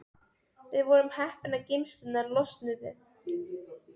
Við vorum heppin að geymslurnar losnuðu.